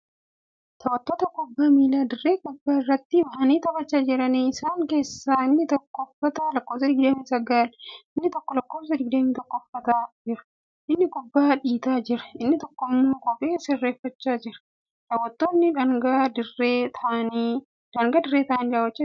Taphattoota kubbaa miilaa dirree kuphaa irratti bahanii taphachaa jiraniidha. isaan keessaa inni tokko uffata lakkoofsa 29 inni tokko lakkoofsa 21 uffatanii jiru. inni kubbaa dhiitaa Jira inni tokkommoo kophee sirreeffachaa jira. daaw'attoonni daangaa dirree taa'anii daawwachaa jiru.